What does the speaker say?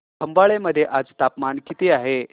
खंबाळे मध्ये आज तापमान किती आहे